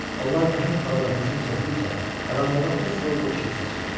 Onlar nəhəng balığa hücum çəkdikcə qaranlığa fosforlu işıq saçılırdı.